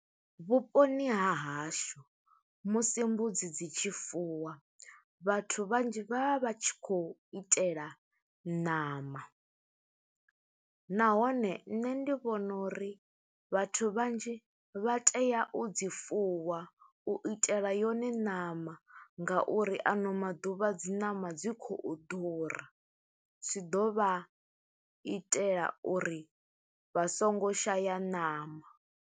Vhuponi ha hashu musi mbudzi dzi tshi fuwa, vhathu vhanzhi vha vha vha tshi khou itela ṋama. Nahone nṋe ndi vhona uri vhathu vhanzhi vha tea u dzi fuwa, u itela yone ṋama nga uri ano maḓuvha dzi ṋama dzi khou ḓura. Zwi ḓo vha itela uri vha songo shaya ṋama.